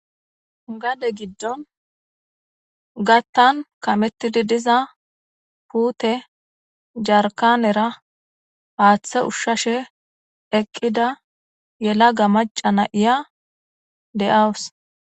Gade gidon gatan kametidi diza pute Jarkannera hathe ushashe eqida yelaga maca na'iya de'eawus